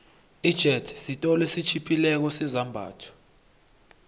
ijethi siolo esitjhiphileko sezambatho